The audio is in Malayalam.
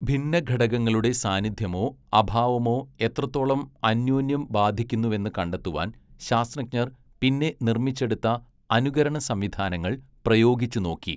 ഭിന്നഘടകങ്ങളുടെ സാന്നിധ്യമോ അഭാവമോ എത്രത്തോളം അന്യോന്യം ബാധിക്കുന്നുവെന്ന് കണ്ടെത്തുവാൻ ശാസ്ത്രജ്ഞർ പിന്നെ നിർമ്മിച്ചെടുത്ത അനുകരണസംവിധാനങ്ങൾ പ്രായോഗിച്ചുനോക്കി.